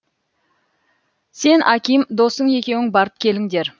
сен аким досың екеуің барып келіңдер